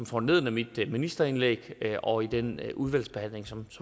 foranlediget af mit ministerindlæg og i den udvalgsbehandling som